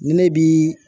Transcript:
Ni ne bi